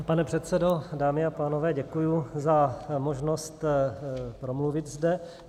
Pane předsedo, dámy a pánové, děkuji za možnost promluvit zde.